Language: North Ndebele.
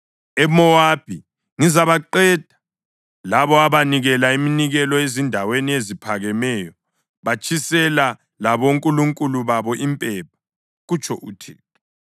EMowabi ngizabaqeda labo abanikela iminikelo ezindaweni eziphakemeyo batshisele labonkulunkulu babo impepha,” kutsho uThixo.